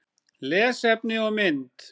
Lesefni og mynd